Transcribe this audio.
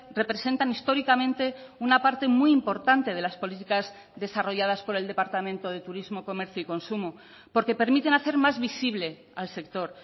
representan históricamente una parte muy importante de las políticas desarrolladas por el departamento de turismo comercio y consumo porque permiten hacer más visible al sector